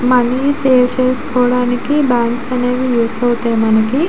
Money save చేసుకోడానికి banks అనేవి use ఆవితాయి మనకి.